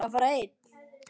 Á ég að fara einn?